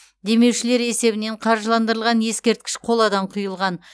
демеушілер есебінен қаржыландырылған ескерткіш қоладан құйылған